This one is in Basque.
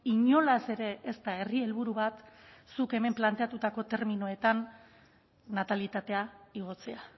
inolaz ere ez da herri helburu bat zuk hemen planteatutako terminoetan natalitatea igotzea